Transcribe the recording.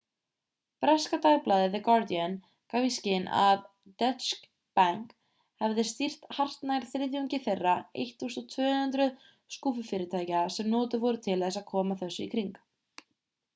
breska dagblaðið the guardian gaf í skyn að deutsche bank hefði stýrt hartnær þriðjungi þeirra 1200 skúffufyrirtækja sem notuð voru til að koma þessu í kring